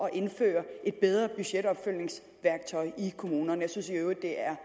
at indføre et bedre budgetopfølgningsværktøj i kommunerne jeg synes i øvrigt det er